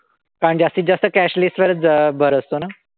कारण जास्तीत जास्त cashless वरच भर असतो ना?